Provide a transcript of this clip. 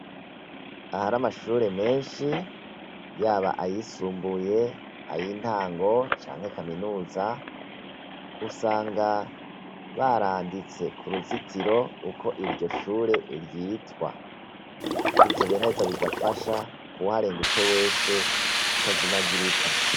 Ahari amashure menshi yaba ayisumbuye, ay'intango canke kaminuza, usanga baranditse kuruzituro uko iryo shure ryitwa. Ivyo biraheza bigafasha uwuharengutse wese atazemagirika.